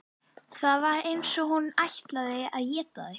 Það var eins og hún ætlaði að éta þig.